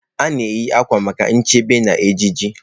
A na-eyi uwe maka nchebe na ejiji.